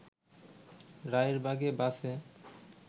রায়েরবাগে বাসে